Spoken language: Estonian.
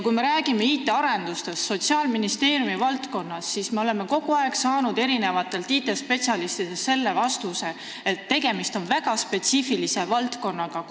Kui me räägime IT-arendustest Sotsiaalministeeriumi valdkonnas, siis me oleme ju kogu aeg saanud IT-spetsialistidelt selle vastuse, et tegemist on väga spetsiifilise valdkonnaga.